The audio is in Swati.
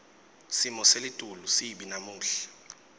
simo selitulu sibi namuhla